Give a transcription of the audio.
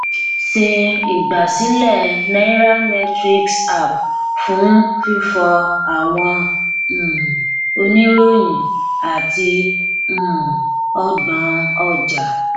ṣe igbasilẹ nairametrics app fun fifọ awọn um iroyin ati um ọgbọn ọja